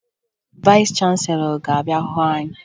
Vayịs chanselọ ga-abịa hụ anyị